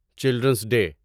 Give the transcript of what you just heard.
children's day